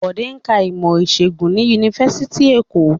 Bode ń ka ìmọ̀-ìṣègùn ni Yunifásitì Èkó.